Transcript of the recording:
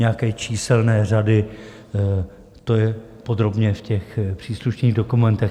Nějaké číselné řady, to je podrobně v těch příslušných dokumentech.